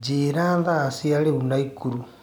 njĩĩra thaa cĩa riu naikuru